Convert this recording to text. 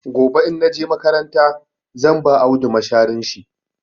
Gobe in na je makaranta zan ba Audu masharin shi.